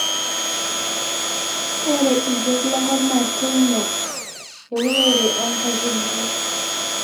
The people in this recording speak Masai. ore irkeek lenkop naa keingial euonore oo nkaitubulu